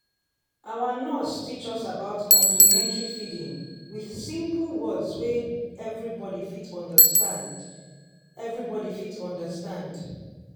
our nurse teach us about complementary feeding with simple words wey everybody fit understand. everybody fit understand.